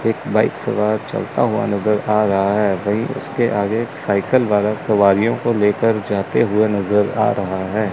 एक बाइक सवार चलता हुआ नजर आ रहा है वहीं उसके आगे एक साइकल वाला सवारियों को लेकर जाते हुए नजर आ रहा है।